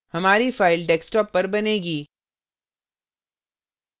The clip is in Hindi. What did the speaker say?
हमारी file desktop पर बनेगी